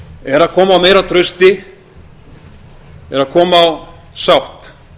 er að koma á meira trausti er að koma á sátt